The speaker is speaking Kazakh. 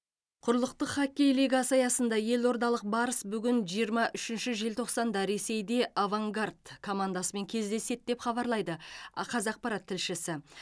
құрлықтық хоккей лигасы аясында елордалық барыс бүгін жиырма үшінші желтоқсанда ресейде авангард командасымен кездеседі деп хабарлайды ақазақпарат тілшісі